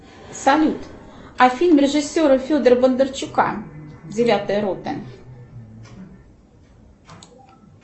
салют а фильм режиссера федора бондарчука девятая рота